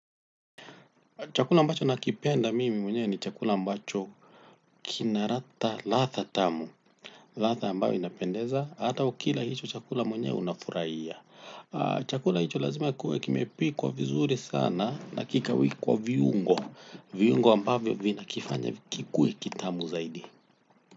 Chakula ambacho nakipenda mimi mwenyewe ni chakula ambacho kina ladha tamu. Ladha ambayo inapendeza hata ukila hicho chakula mwenyewe unafurahia. Chakula hicho lazima kuwe kimepikwa vizuri sana na kikawekwa viungo viungo ambavyo vinakifanya kikue kitamu zaidi.